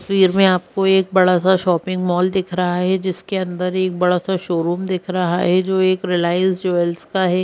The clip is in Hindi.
तस्वीर में आपको एक बड़ा सा शॉपिंग मॉल दिख रहा है जिसके अंदर एक बड़ा सा शोरूम दिख रहा है जो एक रिलायंस ज्वेल्स का है।